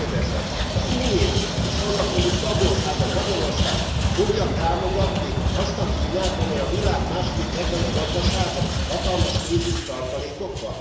Megkérdezem az Unió és annak tagországa, Magyarország fogja támogatni azt a Kínát, amely a világ második legnagyobb gazdasága, hatalmas pénzügyi tartalékokkal?